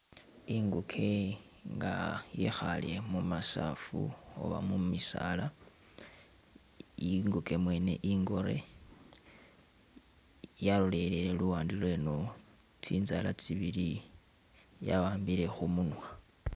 I'nguke nga yekhale mumasafu oba mumisaala, i'nguke mwene i'ngoore, yalolelele luwande lweno, tsinzala tsibili ya wambile khumunwa